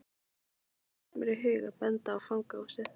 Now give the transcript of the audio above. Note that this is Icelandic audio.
Þá datt mér í hug að benda á fangahúsið.